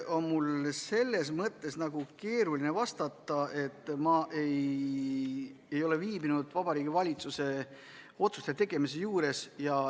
Põhimõtteliselt on mul keeruline vastata, sest ma ei ole viibinud Vabariigi Valitsuse otsuste tegemise juures.